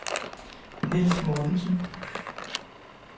Nils Mortensen